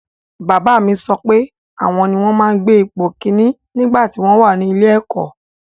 Bàbá mi sọ wípé àwọn ni wọ́n máa ń gbé ipò ìkínní nígbàtí wọ́n wà ní ilé-ẹ̀kọ́.